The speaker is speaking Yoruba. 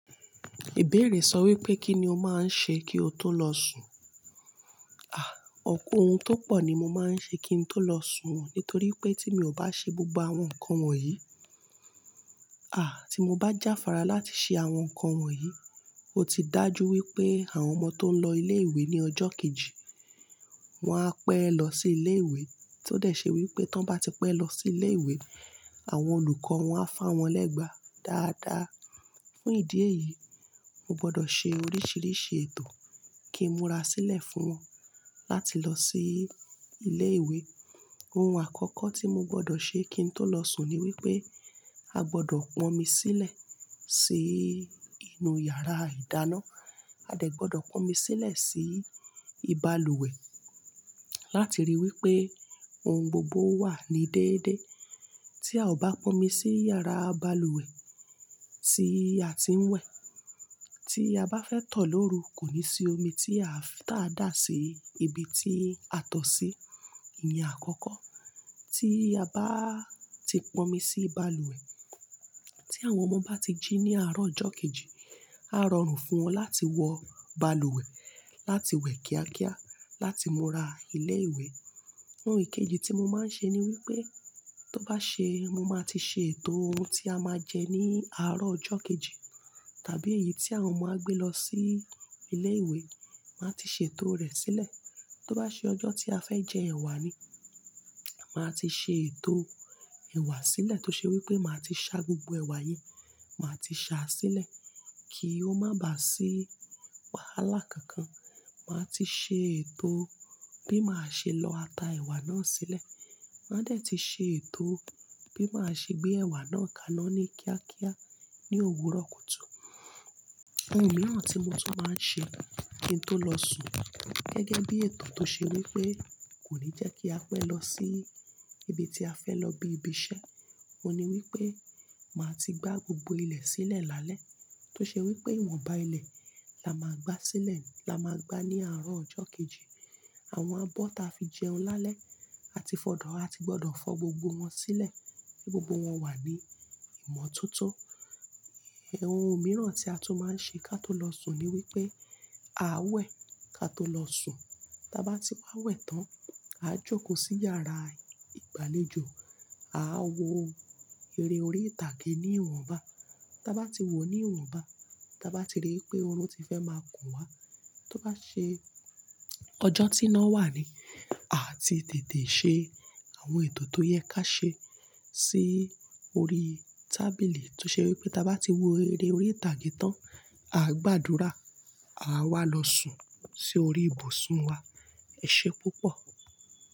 Ìbéèrè sọ wípé kí ni o máa ń ṣe kí o tó lọ sùn? À, ọ̀pọ̀ ohun tó pọ̀ ni mo máa ń ṣe kí n tó lọ sùn, nítorí pé tí mi ò bá ṣe gbogbo àwọn nǹkan wọ̀nyí, à tí mo bá jáfára láti ṣe àwọn nǹkan wọ̀nyí, ó ti dà jú wípé àwọn ọmọ tó ń lọ ilé ìwé ní ọjọ́ kejì, wọn á pẹ́ lọ sí ilé ìwé, tó dẹ̀ ṣe wípé tí wọ́n bá ti pẹ́ lọ sí ilé ìwé, àwọn olùkọ́ wọn á fá wọn lẹ́gba dáadáa. Fún ìdí èyí, mo gbọ́dọ̀ ṣe oríṣiríṣi ètò kí n múra sílẹ̀ fún wọn láti lọ sí ilé ìwé. Ohun àkọ́kọ́ tí mo gbọ́dọ̀ ṣe kí n tó lọ sùn ni wípé a gbọ́dọ̀ pọn omi sílẹ̀ sí inú yàrá ìdáná, a dẹ̀ gbọ́dọ̀ pọn omi sílẹ̀ sí ibaluwẹ̀ láti ríi wípé ohun gbogbo wà ní déédé. Tí a ò bá pọn omi sí yàrá balùwẹ̀ tí a ti ń wẹ̀, tí a bá fẹ́ tọ̀ lóru, kò ní sí omi tí a tà dá sí ibi tí a tọ̀ sí. Ní àkọ́kọ́, tí a bá ti pọn omi sí balùwẹ̀, tí àwọn ọmọ bá ti jí ní àárọ̀ ọjọ́ kejì, a rọrùn fún wọn láti wọ balùwẹ̀, láti wẹ̀ kíákíá, láti múra ilé ìwé. Ohun kejì tí mo máa ń ṣe ni wípé tó bá ṣe mo máa ti ṣe ètò ohun tí a máa jẹ ní àárọ̀ ọjọ́ kejì, tàbí èyí tí àwọn ọmọ á gbé lọ sí ilé ìwé, màá ti ṣètò rẹ̀ sílẹ̀. Tó bá ṣe ọjọ́ tí a fẹ́ jẹ ẹ̀wà ni, màá ti ṣe ètò ẹ̀wà sílẹ̀ tó ṣe wípé màá ti ṣá gbogbo ẹ̀wà yẹn, màá ti ṣá a sílẹ̀ kí ó má bà sí wàhálà kankan. Màá ti ṣe ètò bí màá ṣe lọ ata ẹ̀wà náà sílẹ̀, màá dẹ̀ ti ṣe ètò bí màá ṣe gbé ẹ̀wà náà kaná ní kíákíá ní òwúrọ̀ kùtù. Ohun mìíràn tí mo tún máa ń ṣe kí n tó lọ sùn gẹ́gẹ́ bí ètò tó ṣe wípé kò ní jẹ́ kí a pẹ́ lọ sí ibi tí a fẹ́ lọ bí ibi iṣẹ́, òun ni wípé màá ti gbá gbogbo ilẹ̀ sílẹ̀ lálẹ́, tó ṣe wípé ìwọ̀nba ilẹ̀ la máa gbá sílẹ̀, la máa gbá ní àárọ̀ ọjọ́ kejì. Àwọn abọ́ ta fi jẹun lálẹ́, a ti gbọ́dọ̀ fọ gbogbo wọn sílẹ̀ kí gbogbo wọn wà ní ìmọ̀ tó tó. Ẹ̀, ohun mìíràn tí a tún máa ń ṣe ká tó lọ sùn ni wípé a wẹ̀ ká tó lọ sùn. Tí a bá ti wá wẹ̀ tán, a jókòó sí yàrá ìgbàlejò, a wọ eré orí ìtàgé ní ìwọ̀nba. Tí a bá ti wọ̀ ní ìwọ̀nba, tí a bá ti rí i pé oru ti fẹ́ máa kùn wá, tó bá ṣe ọjọ́ tíná wà ni, a ti tètè ṣe àwọn ètò tó yẹ ká ṣe sí orí tábìlì tó ṣe wípé tí a bá ti wo eré orí ìtàgé tán, a gbàdúrà, a wá lọ sùn sí orí ibùsùn wa. Ẹ ṣé púpọ̀.